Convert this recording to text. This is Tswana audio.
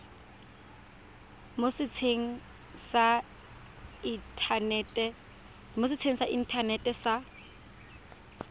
mo setsheng sa inthanete sa